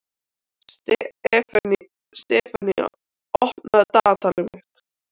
Sefanía, opnaðu dagatalið mitt.